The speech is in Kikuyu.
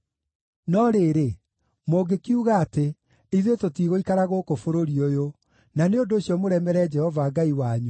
“No rĩrĩ, mũngĩkiuga atĩ, ‘Ithuĩ tũtigũikara gũkũ bũrũri ũyũ,’ na nĩ ũndũ ũcio mũremere Jehova Ngai wanyu,